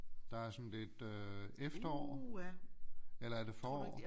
Der er sådan lidt øh efterår eller er det forår